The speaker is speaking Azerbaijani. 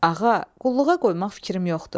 Ağa, qulluğa qoymaq fikrim yoxdur.